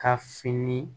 Ka fini